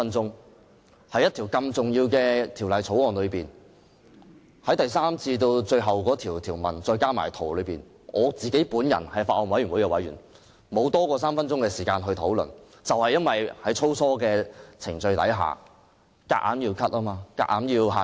作為法案委員會委員，由《條例草案》第3條至最後一項條文，我竟然只有不多於3分鐘的發言時間，這正是由於在粗疏的程序下，議員的發言時間被強行限制。